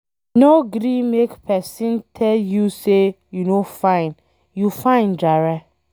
No gree make pesin tell you sey you no fine, you fine jare